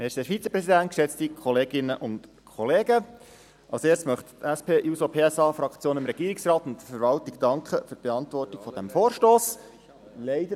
Als Erstes möchte die SP-JUSO-PSA-Fraktion dem Regierungsrat und der Verwaltung für die Beantwortung dieses Vorstosses danken.